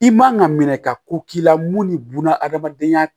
I man ka minɛ ka ko k'i la mun ni buna hadamadenya